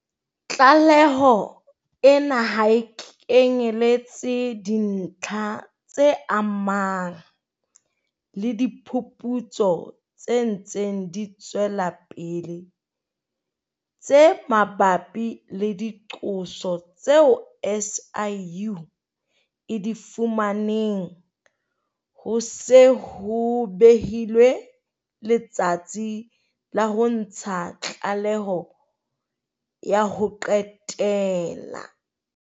Tlaleho ena ha e kenyeletse dintlha tse amanang le diphuputso tse ntseng di tswela pele tse mabapi le diqoso tseo SIU e di fumaneng ho se ho behilwe letsatsi la ho ntsha tlaleho ya ho qetela.